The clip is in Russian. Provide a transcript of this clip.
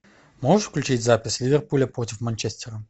можешь включить запись ливерпуля против манчестера